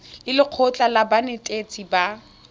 le lekgotlha la banetetshi ba